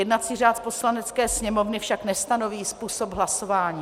Jednací řád Poslanecké sněmovny však nestanoví způsob hlasování.